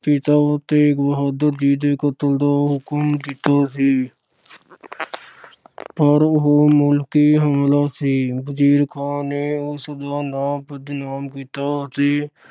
ਪਿਤਾ ਤੇਗ ਬਹਾਦਰ ਜੀ ਦੇ ਕਤਲ ਦਾ ਹੁਕਮ ਦਿੱਤਾ ਸੀ। ਪਰ ਉਹ ਮੁਲਕੀ ਹਮਲਾ ਸੀ। ਵਜੀਰ ਖਾਨ ਨੇ ਉਸਦਾ ਨਾਂ ਬਦਨਾਮ ਕੀਤਾ ਤੇ